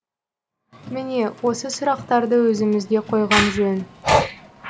міне осы сұрақтарды өзімізге қойған жөн